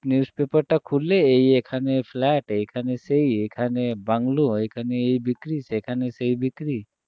news paper টা খুললে এই এখানে flat এখানে সেই এখানে বাংলো এখানে এই বিক্রী সেখানেসেই বিক্রী